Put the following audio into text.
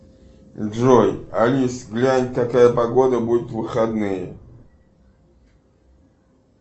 джой алиса глянь какая погода будет в выходные